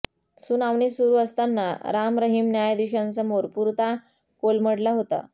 सुनावणी सुरू असताना राम रहिम न्यायाधीशांसमोर पुरता कोलमडला होता